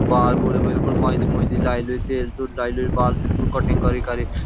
बाल बूल बिल्कुल मैइंदी मूइंदी लाई लुई तेल तूल लाई लुई बाल बिल्कुल कटिंग करी करिक।